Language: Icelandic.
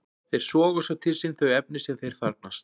Þeir soga svo til sín þau efni sem þeir þarfnast.